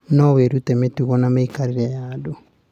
No wĩrute mĩtugo na mĩikarĩre ya andũ.